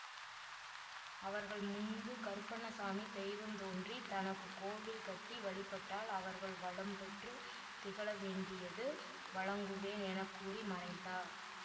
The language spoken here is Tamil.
அவர்கள் முன்பு கருப்பண்ண சாமி தெய்வம் தோன்றி தனக்கு கோவில் கட்டி வழிபட்டால் அவர்கள் வளம்பெற்று திகழ வேண்டியது வழங்குவேன் என கூறி மறைந்தார்